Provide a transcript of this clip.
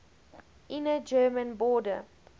inner german border